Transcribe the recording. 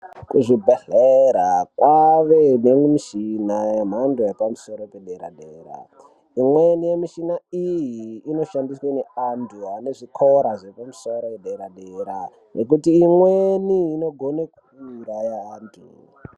Kuzvibhedhlera kwaane nemichina yemhando yepamusoro pedera-dera. Imweni yemishina iyi inoshandiswe ngeantu anezvikora zvepamusoro pederadera ngekuti imweni inogone kuuraya antu.